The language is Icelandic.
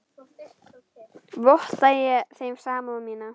Votta ég þeim samúð mína.